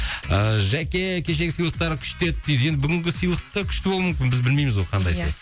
ыыы жәке кешегі сыйлықтар күшті еді дейді енді бүгінгі сыйлық та күшті болуы мүмкін біз білмейміз ғой қандай сыйлық иә